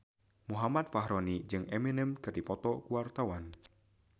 Muhammad Fachroni jeung Eminem keur dipoto ku wartawan